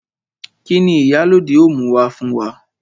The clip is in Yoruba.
Kini Ìyálóde ó mú wá fún wa?